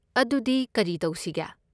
ꯑꯗꯨꯗꯤ ꯀꯔꯤ ꯇꯧꯁꯤꯒꯦ?